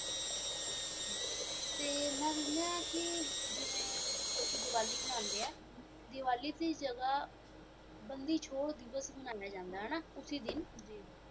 ਤੇ ਮੈਂ ਸੁਣਿਆ ਕਿ ਜਿਵੇਂ ਲੋਕੀ ਦੀਵਾਲੀ ਮਨਾਨਦੇ ਹੈ ਦੀਵਾਲੀ ਦੀ ਜੱਗ ਬੰਦੀ ਛੋੜ ਦਿਵਸ ਮਨਾਇਆ ਜਾਣਾ ਹੈ ਨਾ ਉਸੀ ਦਿਨ ਜੀ